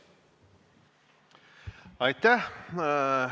Aitäh!